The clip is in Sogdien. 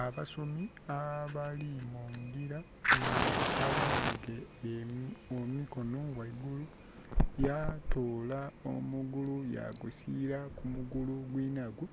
Abasomi abali mungira nga aghanhike emikono gheigulu yatola omugulu yagusiira ku mugulu gwinhagwo.